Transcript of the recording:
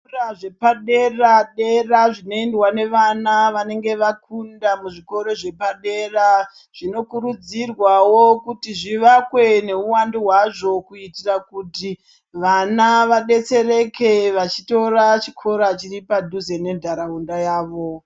Zvikora zvepadera-dera zvinoendwa nevana vanenge vakunda muzvikoro zvepadera zvinokurudzirwawo kuti zvivakwe nehuwandu hwazvo kuitira kuti vana vadetsereke vachitora chikora chiri padhuze nendaraunda yavo.